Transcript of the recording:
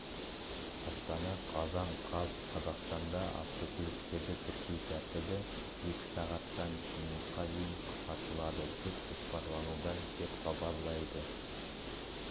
астана қазан қаз қазақстанда автокөліктерді тіркеу тәртібі екі сағаттан минутқа дейін қысқартылады деп жоспарлануда деп хабарлайды